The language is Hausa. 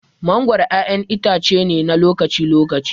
Mangoro ƴaƴan itace ne na lokaci-lokaci.